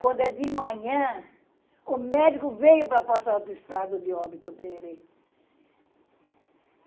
Quando é de manhã, o médico veio para passar o estado de óbito para ele.